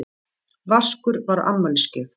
Vaskur var afmælisgjöf.